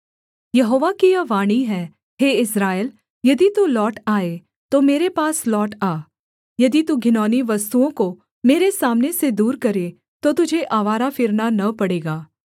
यहोवा की यह वाणी है हे इस्राएल यदि तू लौट आए तो मेरे पास लौट आ यदि तू घिनौनी वस्तुओं को मेरे सामने से दूर करे तो तुझे आवारा फिरना न पड़ेगा